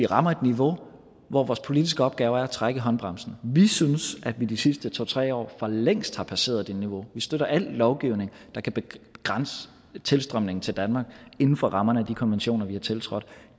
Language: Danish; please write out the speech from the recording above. rammer et niveau hvor vores politiske opgave er at trække i håndbremsen vi synes at vi i de sidste to tre år for længst har passeret det niveau vi støtter al lovgivning der kan begrænse tilstrømningen til danmark inden for rammerne af de konventioner vi har tiltrådt